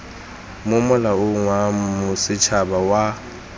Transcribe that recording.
mo molaong wa bosetshaba wa